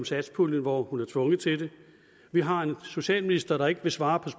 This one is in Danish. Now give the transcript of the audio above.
satspuljen hvor hun er tvunget til det vi har en socialminister der ikke vil svare